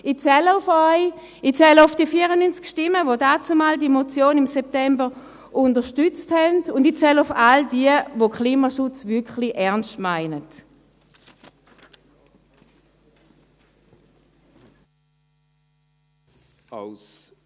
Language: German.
Ich zähle auf Sie, ich zähle auf die 94 Stimmen, die dannzumal diese Motion im September unterstützt haben, und ich zähle auf all jene, die es mit dem Klimaschutz wirklich ernst meinen.